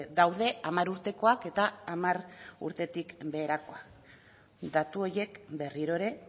daude hamar urtekoak eta hamar urtetik beherakoak datu horiek berriro ere